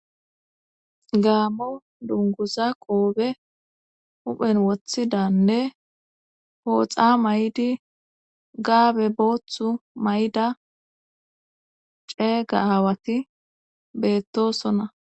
gaammo dunguza qoobe huphen wothidanne pooxa may7di gaabe booththu may7da ceeyga hawati beettosona